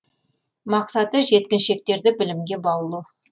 мақсаты жеткіншектерді білімге баулу